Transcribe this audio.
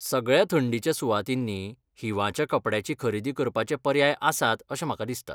सगळ्या थंडीच्या सुवातींनी हिंवाच्या कपड्यांची खरेदी करपाचे पर्याय आसात अशें म्हाका दिसता.